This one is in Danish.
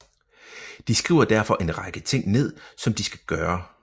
De skriver derfor en række ting ned som de skal gøre